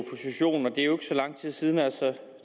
det er jo ikke så lang tid siden altså